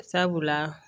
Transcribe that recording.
Sabula